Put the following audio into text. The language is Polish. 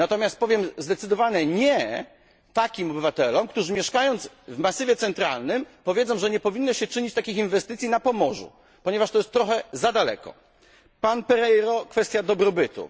Natomiast powiem zdecydowane nie takim obywatelom, którzy mieszkając w Masywie Centralnym stwierdzą, że nie powinno się dokonywać takich inwestycji na Pomorzu, ponieważ to jest trochę za daleko. Panie Pereiro w kwestii dobrobytu.